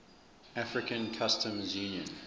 african customs union